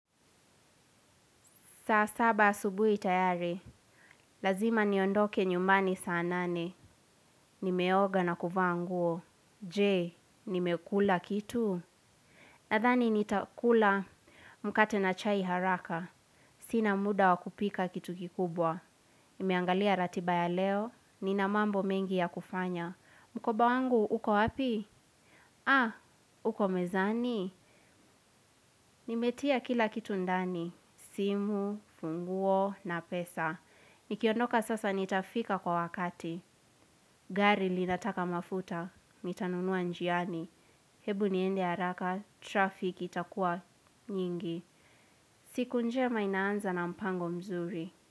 Saa saba asubuhi tayari. Lazima niondoke nyumbani saa nane. Nimeoga na kuvaa nguo. Je, nimekula kitu? Nadhani nitakula, mkate na chai haraka. Sina muda wakupika kitu kikubwa. Nimeangalia ratiba ya leo, nina mambo mengi ya kufanya. Mkoba wangu, uko wapi? Ha! Uko mezani? Nimetia kila kitu ndani. Simu, funguo na pesa. Nikiondoka sasa nitafika kwa wakati. Gari linataka mafuta, nitanunua njiani. Hebu niende haraka, 'traffic' itakua nyingi. Siku njema inaanza na mpango mzuri.